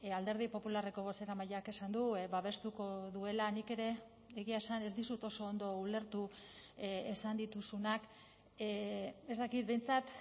alderdi popularreko bozeramaileak esan du babestuko duela nik ere egia esan ez dizut oso ondo ulertu esan dituzunak ez dakit behintzat